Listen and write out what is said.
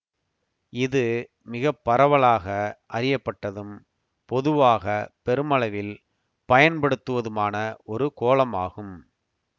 இது மிக பரவலாக அறியப்பட்டதும் பொதுவாக பெருமளவில் பயன்படுத்துவதுமான ஒரு கோலமாகும்